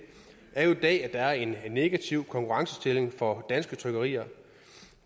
er jo at er en negativ konkurrencestilling for danske trykkerier